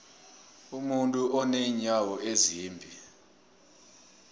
umuntu unenyawo ezimbili